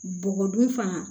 Bɔgɔ dun fana